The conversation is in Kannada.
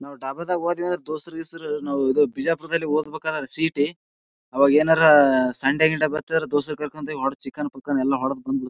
ನಾವು ಡಾಬ್ ದಾಗ್ ಹೋದ್ವಿ ಅಂದ್ರ ದೋಸ್ತ್ರ ಗೀಸ್ತ್ರ ನಾವ್ ಈದ್ ಬಿಜಾಪುರದಾಗ್ ಓದಬೇಕಾದ್ರ ಸಿ ಈ ಟಿ ಅವಾಗ್ ಏನಾರ್ ಸಂಡೆ ಗಿಂಡೆ ಬರ್ತರ್ ದೋಸ್ತ್ರ ಕರಕೊಂಡ ಹೊರಡತ್ತಿವಿ ಚಿಕನ್ ಪೂಕನ್ ಎಲ್ಲಾ ಹೊಡದ್ ಬಂದ್ ಬಿಡ್ತಿವಿ.